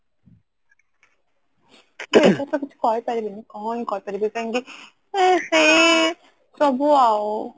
ଏଥିରେ ତ କିଛି କହିପାରିବିନି କଣ ହି କରିପାରିବି କାଇଙ୍କି ସେଇ ସବୁ ଅଉ